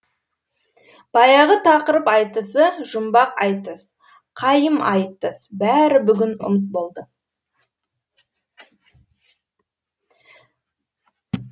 баяғы тақырып айтысы жұмбақ айтыс қайым айтыс бәрі бүгін ұмыт болды